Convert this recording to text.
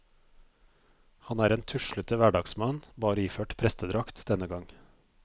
Han er en tuslete hverdagsmann, bare iført prestedrakt denne gang.